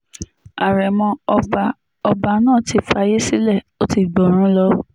àrèmọ ọba ọba náà ti fàyè sílẹ̀ ó ti gbọ́run lọ